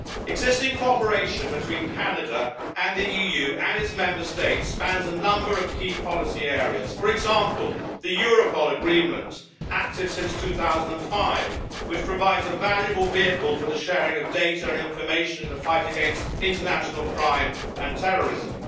Existing cooperation between Canada and the EU and its Member States spans a number of key policy areas for example, the Europol Agreement, active since 2005, which provides a valuable vehicle for the sharing of data and information in the fight against international crime and terrorism